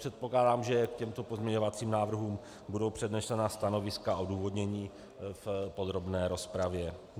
Předpokládám, že k těmto pozměňovacím návrhům budou přednesena stanoviska a odůvodnění v podrobné rozpravě.